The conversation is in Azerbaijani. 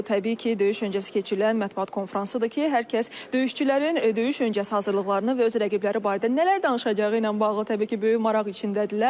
Bu təbii ki, döyüş öncəsi keçirilən mətbuat konfransıdır ki, hər kəs döyüşçülərin döyüş öncəsi hazırlıqlarını və öz rəqibləri barədə nələr danışacağı ilə bağlı təbii ki, böyük maraq içindədirlər.